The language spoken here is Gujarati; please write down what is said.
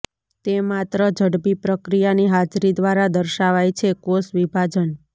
તે માત્ર ઝડપી પ્રક્રિયાની હાજરી દ્વારા દર્શાવાય છે કોષ વિભાજન